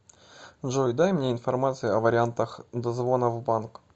джой дай мне информацию о вариантах дозвона в банк